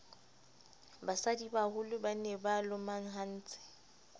basadibaholo ba ne ba lomahantse